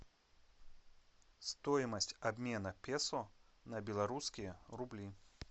стоимость обмена песо на белорусские рубли